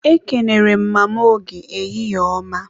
Ekenere m Mama Oge, ehihie ọma